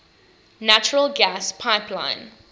natural gas pipeline